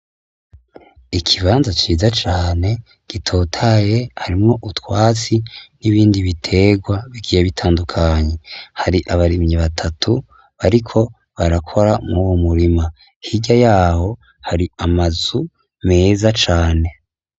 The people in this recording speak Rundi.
Ikibanza ciza cane gitohaye harimwo utwatsi n'ibindi bitegwa bigiye bitandukanye, hari abarimyi batatu bariko barakora mw,uwo murima, hirya yaho hari amazu meza cane.